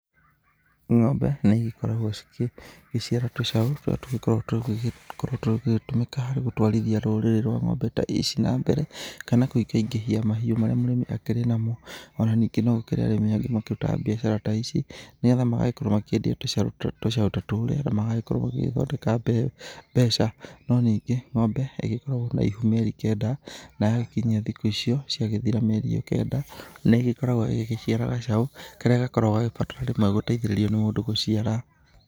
Ng'ombe nĩ igĩkoragwo cigĩciara tũcaũ tũrĩa tũgĩkoragwo tũgĩgĩtũmĩka harĩ gũtwarithia rũrĩrĩ rwa ng'ombe ta ici na mbere, kana kũingaingĩhia mahiũ marĩa mũrĩmi akĩrĩ namo. O na ningĩ no gũkĩrĩ arĩmi angĩ makĩrutaga biacara ta ici nĩgetha magagĩkorwo makĩendia tũcaũ ta tũrĩa, na magagĩkorwo magĩgĩthondeka mbeca, no ningĩ ng'ombe ĩgĩkoragwo na ihu mĩeri kenda na yakinyia thikũ icio, ciagĩthira mĩeri ĩyo kenda, nĩ ĩgĩkoragwo ĩgĩciara gacaũ karĩa gakoragwo gagĩbataraga rĩmwe gũteithĩrĩrio nĩ mũndũ gũciara.